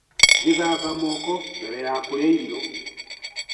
Gĩthamba moko mbere ya kũrĩa irio.